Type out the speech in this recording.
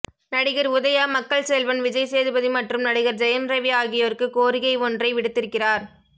நடிகர் உதயா மக்கள் செல்வன் விஜய் சேதுபதி மற்றும் நடிகர் ஜெயம் ரவி ஆகியோருக்கு கோரிகை ஒன்றை விடுத்திருக்கிறார்